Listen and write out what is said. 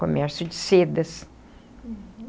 Comércio de sedas.